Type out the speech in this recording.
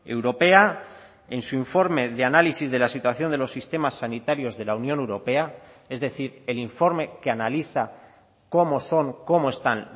europea en su informe de análisis de la situación de los sistemas sanitarios de la unión europea es decir el informe que analiza cómo son cómo están